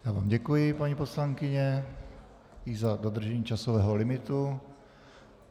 Já vám děkuji paní poslankyně, i za dodržení časového limitu.